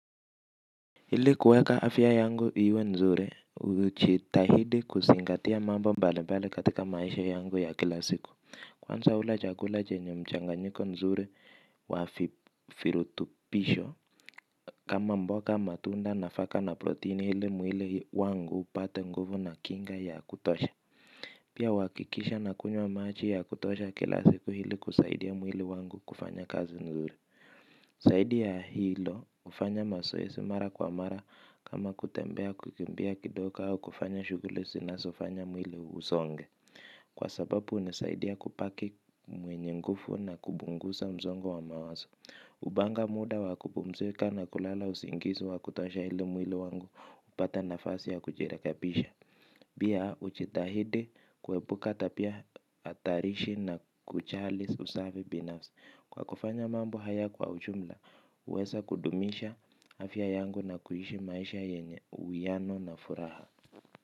Ili kuweka afya yangu iwe nzuri hujitahidi kuzingatia mambo mbali mbali katika maisha yangu ya kilasiku. Kwanza hula chakula chenye mchanganyiko nzuri wa virutubisho. Kama mboga, matunda, nafaka na proteini hili mwili wangu upate nguvu na kinga ya kutosha. Pia uhakikisha nakunywa maji ya kutosha kila siku ili kusaidia mwili wangu kufanya kazi nzuri. Zaidi ya hilo hufanya mazoezi mara kwa mara kama kutembea kukimbia kidogo au kufanya shughuli zinazofanya mwili usonge. Kwa sababu ni zaidi ya kubaki mwenye nguvu na kupunguza msongo wa mawazo. Hupanga muda wa kupmzika na kulala usingizi wa kutosha ili mwili wangu upate nafasi ya kujirekabisha. Pia hujitahidi kuebuka tabia hatarishi na kujali usafi binafsi. Kwa kufanya mambo haya kwa ujumla, huweza kudumisha afya yangu na kuishi maisha yenye uwiano na furaha.